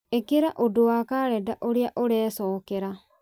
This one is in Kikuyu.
ĩkĩra ũndũ wa karenda ũrĩa ũrecokera